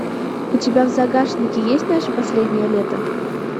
у тебя в загашнике есть наше последнее лето